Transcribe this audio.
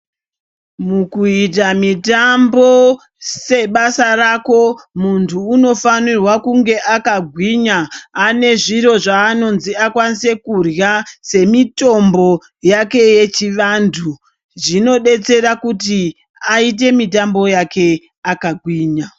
Mukuita mitambo sebasa rako muntu unofanirwa kunge akagwinya ane zviro zvaanonzi akwanise kurya semitombo yake yechivantu. Zvinodetsera kuti aite mitambo yake akagwinya.